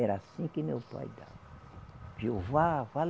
Era assim que meu pai dava. Jeová vá